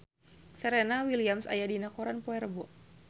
Serena Williams aya dina koran poe Rebo